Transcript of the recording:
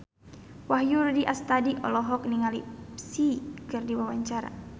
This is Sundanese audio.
Wahyu Rudi Astadi olohok ningali Psy keur diwawancara